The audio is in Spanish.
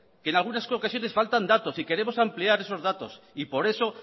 que en algunas ocasiones faltan datos y queremos ampliar esos datos por eso